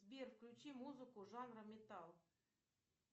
сбер включи музыку жанра металл